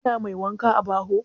Kina mai wanka a baho?